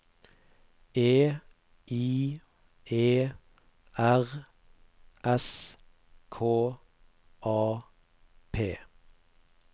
E I E R S K A P